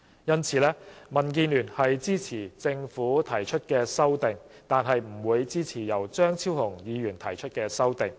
因此，民主建港協進聯盟支持政府提出的《條例草案》，但不會支持由張超雄議員提出的修正案。